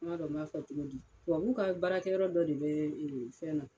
M'a dɔn n b'a fɔ cogodi, tubabuw ka baarakɛyɔrɔ dɔ de bɛɛ fɛn na